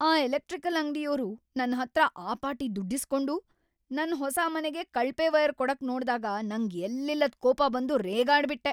ಆ ಎಲೆಕ್ಟ್ರಿಕಲ್‌ ಅಂಗ್ಡಿಯೋರು ನನ್ಹತ್ರ ಆ ಪಾಟಿ ದುಡ್ಡಿಸ್ಕೊಂಡು ನನ್ ಹೊಸ ಮನೆಗೆ ಕಳಪೆ ವೈರ್‌ ಕೊಡಕ್‌ ನೋಡ್ದಾಗ ನಂಗ್‌ ಎಲ್ಲಿಲ್ಲದ್‌ ಕೋಪ ಬಂದು ರೇಗಾಡ್ಬಿಟ್ಟೆ.